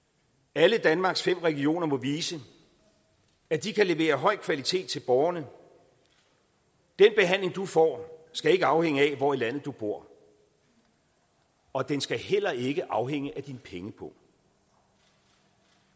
alle danmarks fem regioner må vise at de kan levere høj kvalitet til borgerne den behandling du får skal ikke afhænge af hvor i landet du bor og den skal heller ikke afhænge af din pengepung